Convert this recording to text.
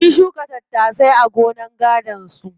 Sun shuka tattasai a gonar gadon su.